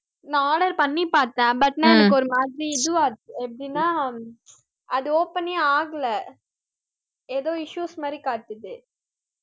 நான் order பண்ணி பார்த்தேன் but நான் எனக்கு ஒரு மாதிரி எப்படின்னா அது open னே ஆகலை ஏதோ issues மாதிரி காட்டுது